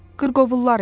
Qırqovullar idi.